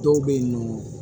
Dɔw bɛ yen nɔ